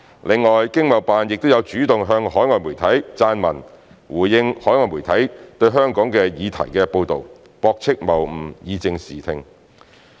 另外，經貿辦亦有主動向海外媒體撰文，回應海外媒體對香港的議題報道，駁斥謬誤，以正視聽。